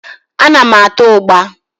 Ana m ata ụgbá.